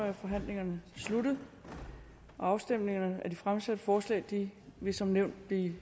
er forhandlingen sluttet afstemning om de fremsatte forslag vil vil som nævnt